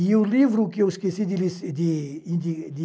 E o livro que eu esqueci de lis, de de...